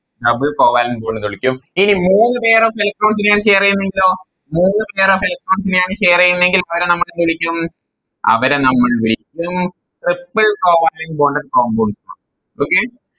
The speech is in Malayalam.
Double covalent bond എന്ന് വിളിക്കും ഇനി മൂന്ന് Pair of electrons നെയാണ് share ചെയ്യുന്നതെങ്കിലോ മൂന്ന് Pair of electrons നെ ആണ് Share ചെയ്യുന്നതെങ്കിൽ അവരെ നമ്മളെന്ത് വിളിക്കും അവരെ നമ്മൾ വിളിക്കും Triple covalent bonded compounds ന്നാണ് Okay